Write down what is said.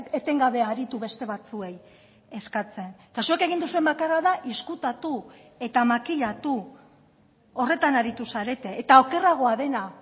etengabe aritu beste batzuei eskatzen eta zuek egin duzuen bakarra da ezkutatu eta makilatu horretan aritu zarete eta okerragoa dena